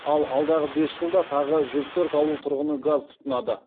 ал алдағы бес жылда тағы жүз төрт ауыл тұрғыны газ тұтынады